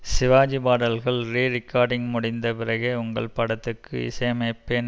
சிவாஜி பாடல்கள் ரீரிக்கார்டிங் முடிந்த பிறகே உங்கள் படத்துக்கு இசையமைப்பேன்